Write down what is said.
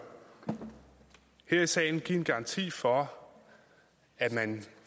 her i salen give en garanti for at man